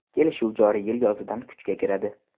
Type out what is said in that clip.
Kelishuv joriy yil yozidan kuchga kiradi.